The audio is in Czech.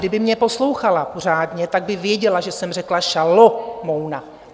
Kdyby mě poslouchala pořádně, tak by věděla, že jsem řekla Šalomouna.